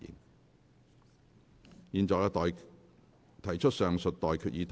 我現在向各位提出上述待決議題。